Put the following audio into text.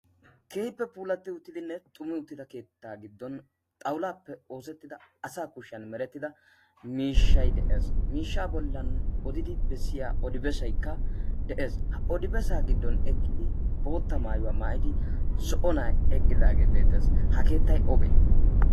Keehippe puulatidinne xummi uttida keetta giddon xawullappe oosetida asa kushiyaa oosettida miishshay de'ees. miishsha bollan odidi bessiya odi bessaykka de'ees. ha odibessay giddon zo'o nay eqqidi bootta maayuwa maayida nay beettees. ha keettay obe?